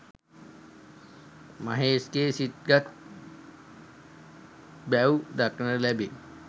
මහේෂ්ගේ සිත් ගත් බැව් දක්නට ලැබේ